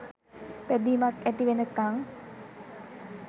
බැදිමක් ඇති වෙනකන්.